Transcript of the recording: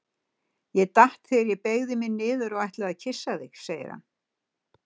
Ég datt þegar ég beygði mig niður og ætlaði að kyssa þig, segir hann.